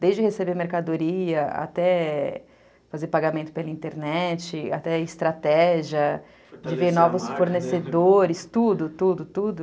Desde receber mercadoria, até fazer pagamento pela internet, até estratégia, de ver novos fornecedores, tudo, tudo, tudo.